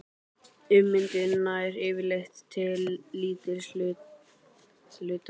Ummyndun nær yfirleitt til lítils hluta bergs.